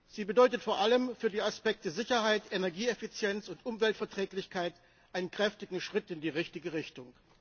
Sie bedeutet vor allem für die Aspekte Sicherheit, Energieeffizienz und Umweltverträglichkeit einen großen Schritt in die richtige Richtung.